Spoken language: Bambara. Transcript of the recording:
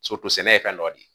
sɛnɛ ye fɛn dɔ de ye